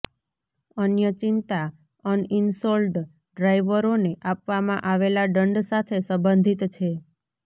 અન્ય ચિંતા અનઇન્શોલ્ડ ડ્રાઇવરોને આપવામાં આવેલા દંડ સાથે સંબંધિત છે